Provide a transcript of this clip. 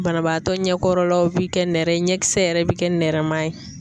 Banabaatɔ ɲɛkɔrɔlaw bɛ kɛ nɛrɛ ye ɲɛkisɛ yɛrɛ bi kɛ nɛrɛman ye.